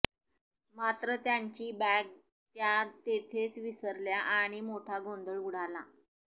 मात्र त्यांची बॅग त्या तेथेच विसरल्या आणि मोठा गोंधळ उडाला